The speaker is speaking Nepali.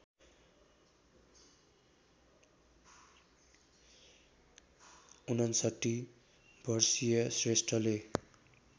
५९ वर्षीय श्रेष्ठले